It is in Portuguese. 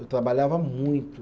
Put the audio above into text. Eu trabalhava muito.